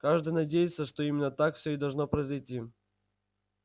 каждый надеется что именно так все и должно произойти